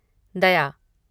दया